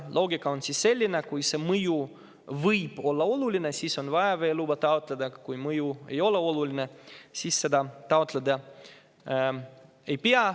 Loogika on siin selline, et kui see mõju võib olla oluline, siis on vaja veeluba taotleda, kui mõju ei ole oluline, siis seda taotlema ei pea.